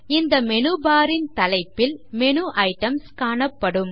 இந்த menu bar ன் தலைப்பில் மேனு ஐட்டம்ஸ் காணப்படும்